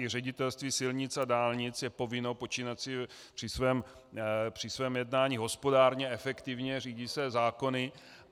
I Ředitelství silnic a dálnic je povinno počínat si při svém jednání hospodárně, efektivně, řídí se zákony.